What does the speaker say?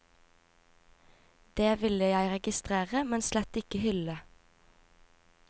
Det ville jeg registrere, men slett ikke hylde.